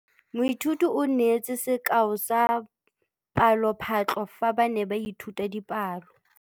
Moithuti o neetse sekaô sa palophatlo fa ba ne ba ithuta dipalo.